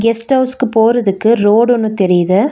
Guest ஹவுஸ்க்கு போறதிக்கு road ஒன்னு தெரிது.